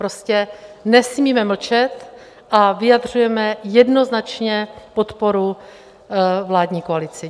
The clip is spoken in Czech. Prostě nesmíme mlčet a vyjadřujeme jednoznačně podporu vládní koalici.